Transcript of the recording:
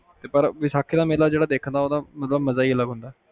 ਤੇ ਪਰ ਵੈਸਾਖੀ ਦਾ ਮੇਲਾ ਜਿਹੜਾ ਵੇਖਣ ਦਾ ਮਜ਼ਾ ਈ ਅਲੱਗ ਹੁੰਦਾ